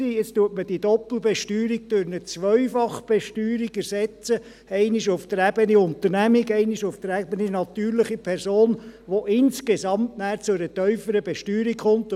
Jetzt wird die Doppelbesteuerung durch eine Zweifachbesteuerung ersetzt – einmal auf der Ebene Unternehmung, einmal auf der Ebene natürliche Person –, wodurch es insgesamt zu einer tieferen Besteuerung kommt.